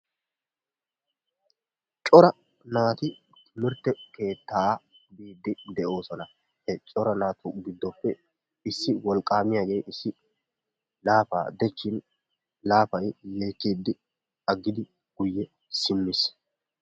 cora naati timirtte keettaa biidi doosona. he cora naatu giddoppe issi wolqqamiyaagee issi laapaa dechin laaphay yeekkidi aggidi guyye siimmiis.